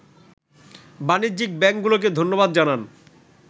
বাণিজ্যিক ব্যাংকগুলোকে ধন্যবাদ জানান